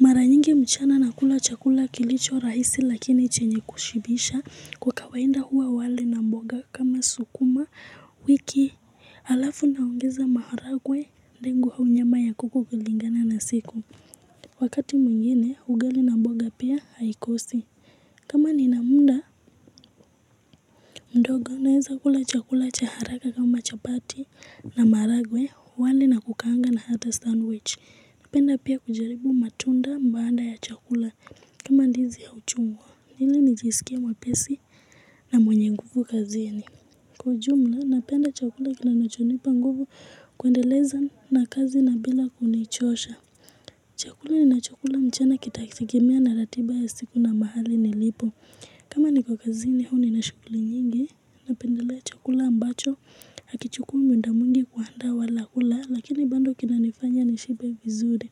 Mara nyingi mchana nakula chakula kilicho rahisi lakini chenye kushibisha kwa kawainda huwa wali na mboga kama sukuma wiki alafu naongeza maharagwe ndengu kwa nyama ya kuku kulingana na siku. Wakati mwingine, ugali na mboga pia haikosi. Kama nina munda mdogo naeza kula chakula cha haraka kama chapati na maharagwe wali na kukaanga na hata sandwich. Napenda pia kujaribu matunda mbaanda ya chakula kama ndizi au chungwa ili nijisikie mwepesi na mwenye nguvu kazini Kwa jumla napenda chakula kinanachonipa nguvu kuendeleza na kazi na bila kunichosha chakula ninachokula mchana kitategemea na ratiba ya siku na mahali nilipo kama niko kazini huwa nina shuguli nyingi Napendelea chakula ambacho Hakichukui muda mwingi kuandaa wala kula Lakini bando kinanifanya nishibe vizuri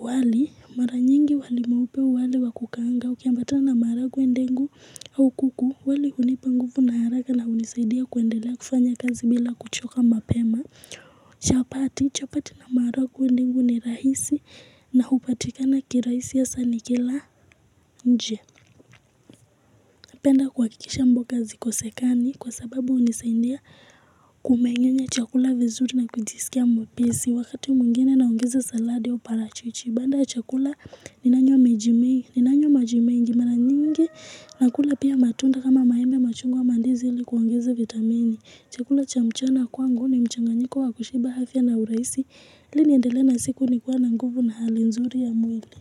wali mara nyingi wali mweupe wali wa kukaanga Ukiambata na maragwe ndengu au kuku wali hunipa nguvu na haraka na hunisaidia kuendelea kufanya kazi bila kuchoka mapema chapati chapati na maragwe ndengu ni rahisi na hupatikana kirahisi hasa nikila nje penda kuhakikisha mboga hazikosekani kwa sababu hunisaindia kumengenye chakula vizuri na kujisikia mwepesi Wakati mwingine naongeza saladi au parachichi Baada ya chakula ninanywa maji mengi mara nyingi nakula pia matunda kama maembe machungwa mandizi li kuongeza vitamini chakula cha mchana kwangu ni mchanganyiko wa kushiba afya na uraisi Ili niendele na siku nikiwa na nguvu na hali nzuri ya mwili.